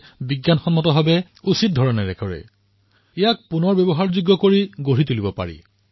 মই ঔদ্যোগিক ক্ষেত্ৰকো আপীল কৰিছো যে যেতিয়া এই প্লাষ্টিক আৱৰ্জনা একত্ৰিত হব তেতিয়াৰ তাৰ উচিত নিষ্কাশনৰ বাবে আগবাঢ়ি আহক